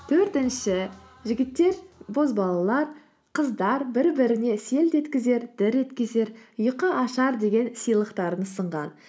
төртінші жігіттер боз балалар қыздар бір біріне селт еткізер дір еткізер ұйқашар деген сыйлықтарын ұсынған